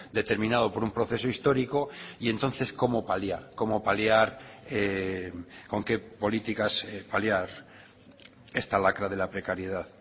determinado por un proceso histórico y entonces cómo paliar cómo paliar con qué políticas paliar esta lacra de la precariedad